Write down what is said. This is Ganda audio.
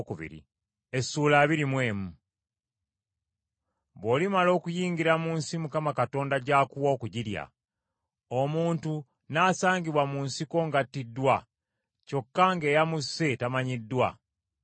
Bw’olimala okuyingira mu nsi Mukama Katonda gy’akuwa okugirya, omuntu n’asangibwa mu nsiko ng’attiddwa, kyokka ng’eyamusse tamanyiddwa,